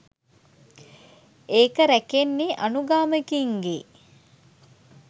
ඒක රැකෙන්නේ අනුගාමිකයින් ගේ